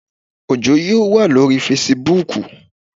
Òjó yóò waa lóríi fesibúùkù